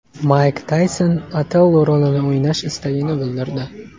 Mayk Tayson Otello rolini o‘ynash istagini bildirdi.